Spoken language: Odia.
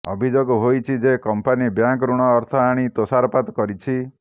ଅଭିଯୋଗ ହେଇଛି ଯେ କମ୍ପାନୀ ବ୍ୟାଙ୍କ ଋଣ ଅର୍ଥ ଆଣି ତୋଷରପାତ କରିଛି